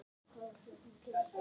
Lóðin yrði því ansi dýr.